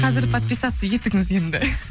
қазір подписаться етіңіз енді